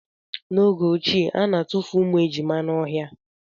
N'oge ochie, ana atufu ụmụ ejima n'ọhịa.